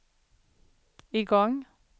igång